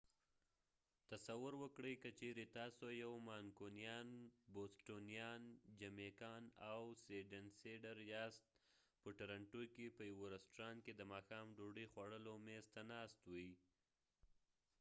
تصور وکړئ که چیرې تاسو یو مانکونیان بوسټونیان جمیکان او سیډنیسیډر یاست په ټورنټو کې په یوه رستورانت کې د ماښام ډوډۍ خوړلو میز ته ناست وی